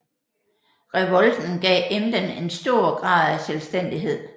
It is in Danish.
Revolten gav Emden en stor grad af selvstændighed